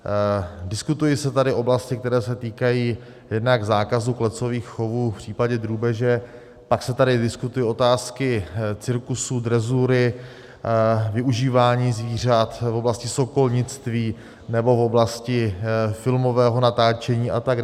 Diskutují se tady oblasti, které se týkají jednak zákazu klecových chovů v případě drůbeže, pak se tady diskutují otázky cirkusů, drezury, využívání zvířat v oblasti sokolnictví nebo v oblasti filmového natáčení atd.